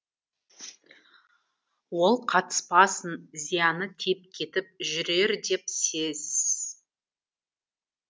ол қатыспасын зияны тиіп кетіп жүрер деп сез